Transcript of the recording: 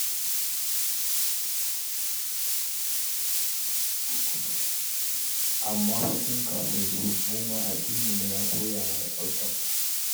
Amma fa tun kafin su, mu ma addininmu ya koya mana tsaftar nan.